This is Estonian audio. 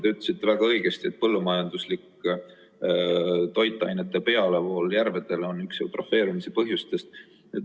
Te ütlesite väga õigesti, et põllumajanduslik toitainete pealevool järvedele on üks eutrofeerumise põhjustest.